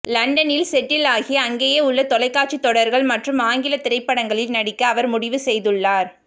லண்டனில் செட்டில் ஆகி அங்கேயுள்ள தொலைக்காட்சி தொடர்கள் மற்றும் ஆங்கில திரைப்படங்களில் நடிக்க அவர் முடிவு செய்துள்ளார்